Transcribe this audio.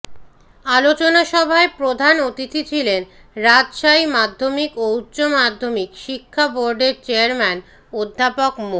আলোচনাসভায় প্রধান অতিথি ছিলেন রাজশাহী মাধ্যমিক ও উচ্চ মাধ্যমিক শিক্ষা বোর্ডের চেয়ারম্যান অধ্যাপক মো